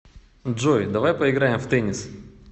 джой давай поиграем в теннис